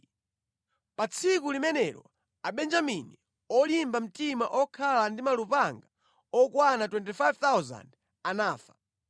Pa tsiku limenelo Abenjamini olimba mtima okhala ndi malupanga okwana 25,000 anafa.